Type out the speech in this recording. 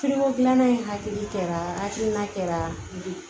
gilanna in hakili kɛra hakilina kɛra bi